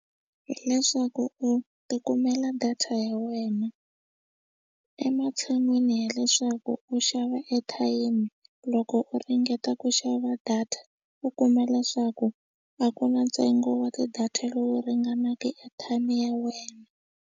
Hi leswaku u ti kumela data ya wena ematshan'wini ya leswaku u xava airtime loko u ringeta ku xava data u kuma leswaku a ku na ntsengo wa ti-data lowu ringanaka airtime ya wena.